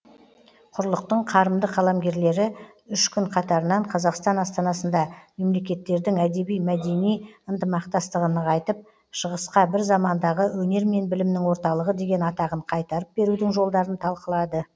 құрлықтың қарымды қаламгерлері үш күн қатарынан қазақстан астанасында мемлекеттердің әдеби мәдени ынтымақтастығын нығайтып шығысқа бір замандағы өнер мен білімнің орталығы деген атағын қайтарып берудің жолдарын талқылады